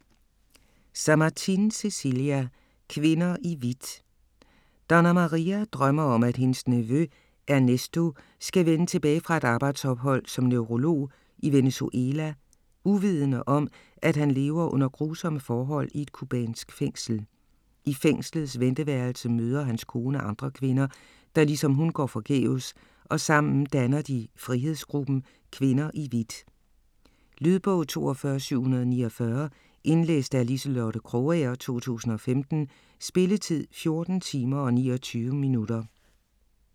Samartin, Cecilia: Kvinder i hvidt Doña Maria drømmer om at hendes nevø Ernesto skal vende tilbage fra et arbejdsophold som neurolog i Venezuela uvidende om at han lever under grusomme forhold i et cubansk fængsel. I fængslets venteværelse møder hans kone andre kvinder, der ligesom hun går forgæves og sammen danner de frihedsgruppen "Kvinder i hvidt". Lydbog 42749 Indlæst af Liselotte Krogager, 2015. Spilletid: 14 timer, 29 minutter.